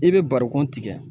I be barikɔn tigɛ.